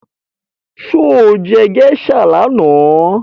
Sọ jẹ́ geisha lánàá?